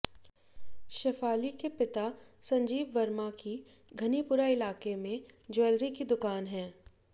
शफाली के पिता संजीव वर्मा की घनीपुरा इलाके में ज्वैलरी की दुकान है